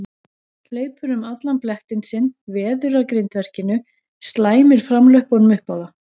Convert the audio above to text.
Hleypur um allan blettinn sinn, veður að grindverkinu, slæmir framlöppunum upp á það.